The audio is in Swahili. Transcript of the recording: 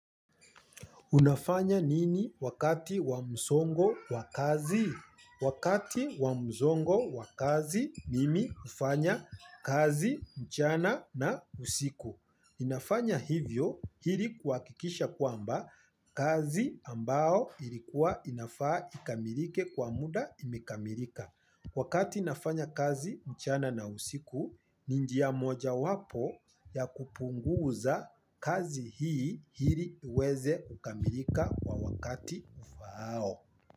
Unafanya nini wakati wa msongo wa kazi? Wakati wa mzongo wa kazi mimi hufanya kazi mchana na usiku. Ninafanya hivyo ili kuhakikisha kwamba kazi ambao ilikuwa inafaa ikamilike kwa muda imekamilika. Wakati nafanya kazi mchana na usiku, ni njia moja wapo ya kupunguza kazi hii ili iweze kukamilika kwa wakati ufahao.